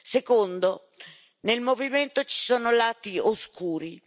Secondo, nel movimento ci sono lati oscuri.